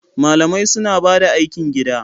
Malamai suna bada aikin gida